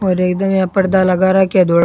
और एकदम यहाँ पर्दा लगा राख्या है धोड़ा --